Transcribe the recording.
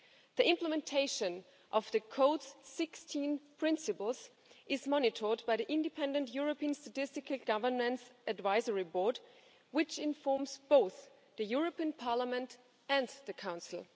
The implementation of the Code's 16 principles is monitored by the Independent European Statistical Governance Advisory Board, which informs both Parliament and the Council.